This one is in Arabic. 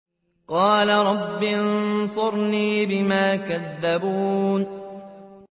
قَالَ رَبِّ انصُرْنِي بِمَا كَذَّبُونِ